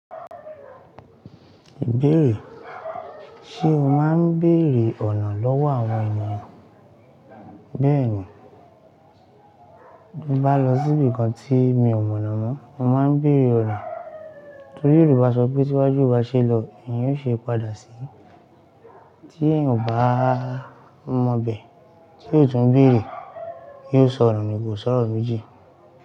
Ibéeré, ṣe o máa ń béèrè ọ̀nà lọ́wọ́ àwọn ènìyàn? Bẹ́ẹ̀ ni, bí mo bá lọ sí ibìkan tí mi ò mọ̀nà mọ́, mo máa ń béèrè ọ̀nà. Nítorí Yorùbá sọ pé "tí iwájú o bá ṣe lọ, ìyẹn ó ṣe padà sí." Tí èèyàn ò bá mọ bẹ̀, tí o tún béèrè, yóò sọnu ni, ko sọ́rọ̀ méjì.